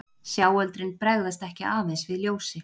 Sjáöldrin bregðast ekki aðeins við ljósi.